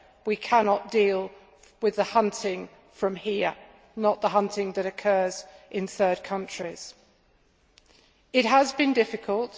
We cannot deal with the hunting from here, not the hunting that occurs in third countries. It has been difficult